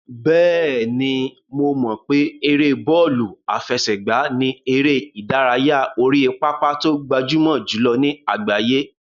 Bẹ́ẹ̀ni, mo mọ̀ pé ère bọ́ọ̀lù àfẹsẹ̀gbá ni eré ìdárayá orí pápá tó gbajúmọ̀ jùlọ ní àgbáyé.